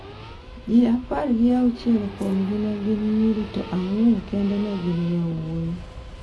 Ji apar gi auchiel kuomgi ne gin nyiri to ang’wen kende ne gin yawuowi.